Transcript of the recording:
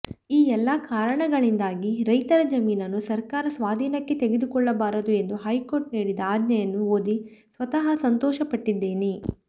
ಈ ಎಲ್ಲಾ ಕಾರಣಗಳಿಂದಾಗಿ ರೈತರ ಜಮೀನನ್ನು ಸರ್ಕಾರ ಸ್ವಾಧೀನಕ್ಕೆ ತೆಗೆದುಕೊಳ್ಳಬಾರದು ಎಂದು ಹೈಕೋರ್ಟ್ ನೀಡಿದ ಆಜ್ಞೆಯನ್ನು ಓದಿ ಸ್ವತಃ ಸಂತೋಷಪಟ್ಟಿದ್ದೇನೆ